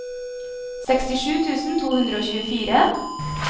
sekstisju tusen to hundre og tjuefire